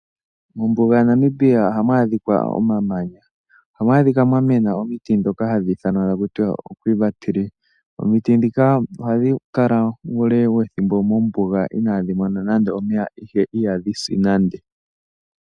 Mombuga yaNamibia ohamu adhika omamanya. Ohamu adhika mwa mena omiti ndhoka hadhi ithanwa kutya oQuiva. Omiti ndhika ohadhi kala uule wethimbo mombuga inaadhi mona omeya, ihe ihadhi si nande.